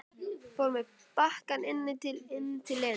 Fór með bakkann inn til Lenu.